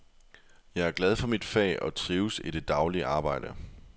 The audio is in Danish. Jeg er glad for mit fag og trives i det daglige arbejde.